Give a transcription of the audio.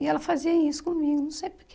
E ela fazia isso comigo, não sei porque.